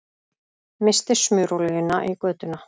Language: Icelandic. Missti smurolíuna í götuna